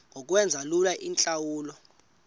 ngokwenza lula iintlawulo